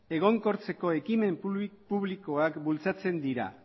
egonkortzeko ekimen publikoak bultzatzen dira